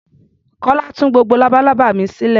Kọ́lá tú gbogbo labalábá mi sílẹ̀.